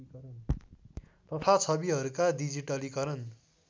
तथा छविहरूका डिजिटलीकरण